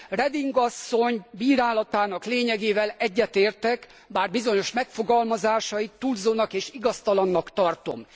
Reding asszony bírálatának lényegével egyetértek, bár bizonyos megfogalmazásait túlzónak és igaztalannak tartom.